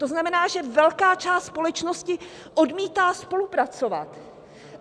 To znamená, že velká část společnosti odmítá spolupracovat.